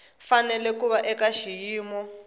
fanele ku va eka xiyimo